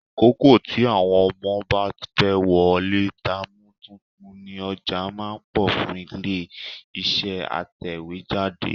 Àkókò tí àwọn ọmọ bá fẹ́ wọlé táàmù tuntun ni ọjà máa ń pọ̀ fún ilé-iṣẹ́ atẹ̀wéjáde.